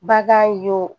Bagan y'o